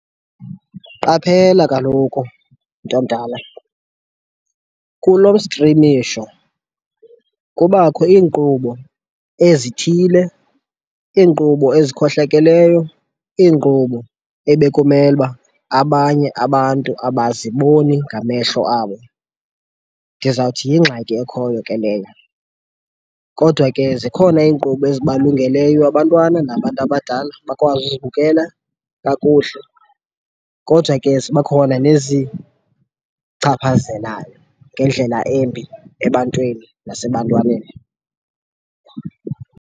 Qaphela kaloku, mntomdala, kulo mstrimisho kubakho iinkqubo ezithile, iinkqubo ezikhohlakeleyo, iinkqubo ebekumele uba abanye abantu abaziboni ngamehlo abo. Ndizawuthi yingxaki ekhoyo ke leyo. Kodwa ke zikhona iinkqubo ezibalungeleyo abantwana nabantu abadala bakwazi uzibukela kakuhle, kodwa ke ziba khona nezichaphazelayo ngendlela embi ebantwini nasebantwaneni.